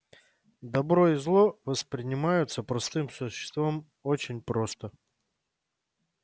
добро и зло воспринимаются простым существом очень просто